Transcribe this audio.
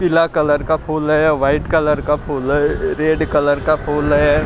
पीला कलर का फूल है वाइट कलर का फूल है रेड कलर का फूल है ।